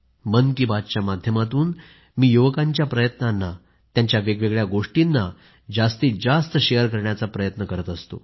मन की बात च्या माध्यमातून मी युवकांच्या प्रयत्नांना त्यांच्या वेगवेगळ्या गोष्टींना जास्तीत जास्त शेअर करण्याचा प्रयत्न करत असतो